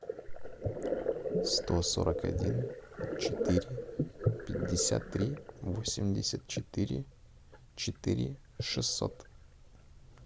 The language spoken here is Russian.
сто сорок один четыре пятьдесят три восемьдесят четыре четыре шестьсот